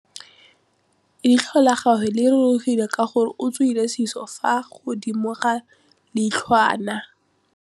Leitlhô la gagwe le rurugile ka gore o tswile sisô fa godimo ga leitlhwana.